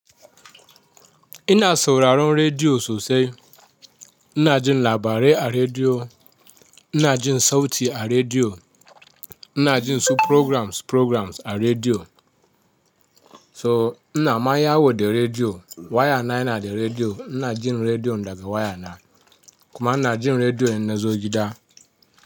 Ina sauraron rediyo sosai. Ina jin labarai a rediyo, ina jin sauti a rediyo, ina jin su programs programs a rediyo. So ina ma ya wo de rediyo waya na yana da rediyo. Ina jin rediyon daga waya na. Kuma ina jin rediyon ina zo gida.